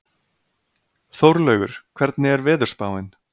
Þórlaugur, hvernig er veðurspáin?